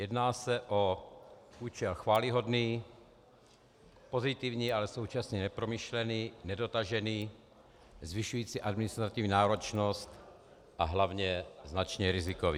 Jedná se o účel chvályhodný, pozitivní, ale současně nepromyšlený, nedotažený, zvyšující administrativní náročnost a hlavně značně rizikový.